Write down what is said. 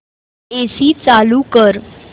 AC चालू कर